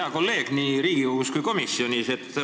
Hea kolleeg nii Riigikogus kui ka komisjonis!